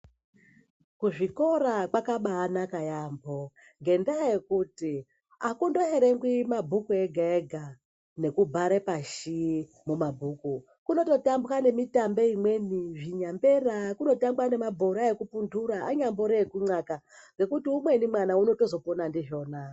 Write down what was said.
Kuzvikora kwakabanaka yaamho. Ngendaa yekuti hakundowerengi mabhuku ega-ega nekubhare pashi mumabhuka. Kuno totambwe nemitambe imweni nyambera kunotambwa nemabhora ekupunhura anyambori ekunyaka. Nekuti umweni mwana uno tozopona ndizvona.